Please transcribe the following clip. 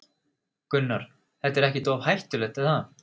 Gunnar: Þetta er ekkert of hættulegt, er það?